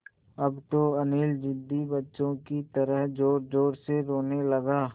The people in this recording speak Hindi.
अब तो अनिल ज़िद्दी बच्चों की तरह ज़ोरज़ोर से रोने लगा